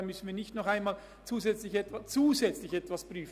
Dann müssen wir nicht zusätzlich noch etwas prüfen.